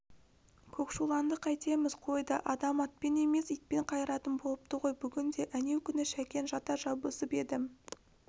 көкшуланды қайтеміз қойды адам атпен емес итпен қайыратын болыпты ғой бүгінде әнеукүні шәкен жата жабысып еді